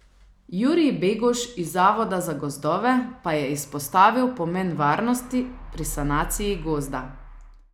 Jurij Beguš iz Zavoda za gozdove pa je izpostavil pomen varnosti pri sanaciji gozda.